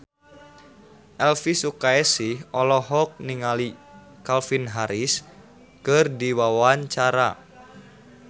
Elvy Sukaesih olohok ningali Calvin Harris keur diwawancara